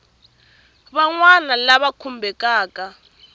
van wana lava va khumbekaku